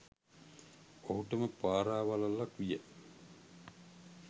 ඔහුටම පරාවලල්ලක් විය.